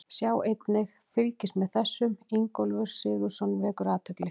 Sjá einnig: Fylgist með þessum: Ingólfur Sigurðsson vekur athygli